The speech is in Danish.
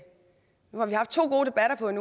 nu har vi haft to gode debatter på en